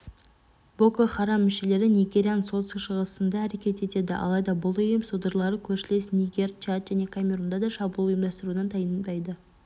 боко харам мүшелері нигерияның солтүстік-шығысында әрекет етеді алайда бұл ұйым содырлары көршілес нигер чад және камерунда да шабуыл ұйымдастырудан тайынбайды